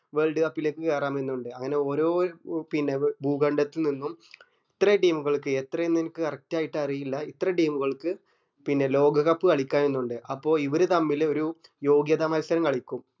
world cup ലേക്ക് കേറണം എന്ന് ഇണ്ട് അങ്ങനെ ഒരോ പിന്നെ ഭൂഖണ്ഡത്തിൽ നിന്നും ഇത്ര team ഉകൾക്ക് എത്ര എന്ന് അനക് correct ആയിട്ട് അറിയില്ല ഇത്ര team ഉകൾക്ക് പിന്നെ ലോക cup കളിക്കാം എന്ന് ഇണ്ട് അപ്പൊ ഇവര് തമ്മിൽ ഒരു യോഗ്യത മത്സരം കളിക്കും